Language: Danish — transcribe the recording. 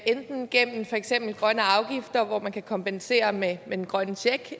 enten gennem for eksempel grønne afgifter hvor man kan kompensere med den grønne check